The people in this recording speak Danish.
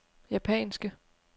japanske